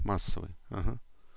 массовый ага